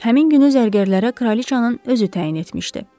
Həmin günü zərgərlərə kraliçanın özü təyin etmişdi.